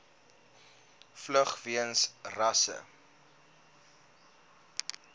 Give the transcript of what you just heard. vlug weens rasse